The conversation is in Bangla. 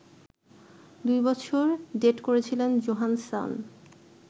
দুই বছর ডেট করেছিলেন জোহানসন